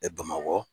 bamakɔ